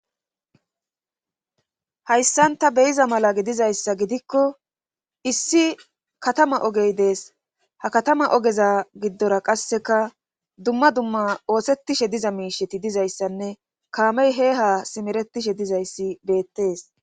hayssanta beyiza mala gidizayssa gidikko issi katama ogey dees ha katama ogeza giddora qasseka dumma dumma oosettishe diza miisheti dizayssanne kaamey he ha simeretishe dizayssi beettees